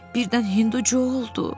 Birdən hindu Co oldu.